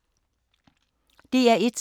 DR1